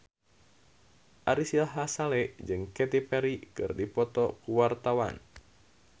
Ari Sihasale jeung Katy Perry keur dipoto ku wartawan